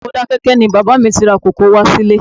Ọjà Modákẹ́kẹ́ ni bàbá mi ti ra kòkó wá sílé